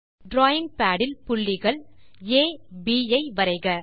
drawing pad இல் புள்ளிகள் ஆ B ஐ வரைக